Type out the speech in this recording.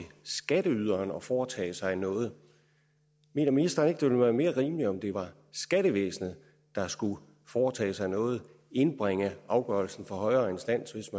skatteyderen at foretage sig noget mener ministeren ikke det ville være mere rimeligt om det var skattevæsenet der skulle foretage sig noget og indbringe afgørelsen for en højere instans hvis